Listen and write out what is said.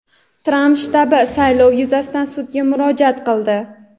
Tramp shtabi saylov yuzasidan sudga murojaat qildi.